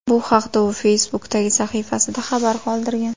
Bu haqda u Facebook’dagi sahifasida xabar qoldirgan .